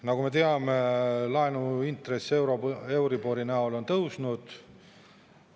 Nagu me teame, laenuintress euribori näol on tõusnud.